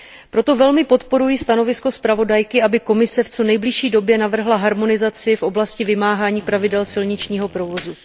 Proto velmi podporuji stanovisko zpravodajky, aby Komise v co nejbližší době navrhla harmonizaci v oblasti vymáhání pravidel silničního provozu.